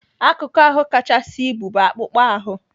Akụkụ ahụ kachasị ibu bụ akpụkpọ ahụ.